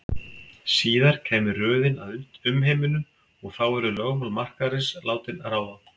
Síðar kæmi röðin að umheiminum og þá yrðu lögmál markaðarins látin ráða.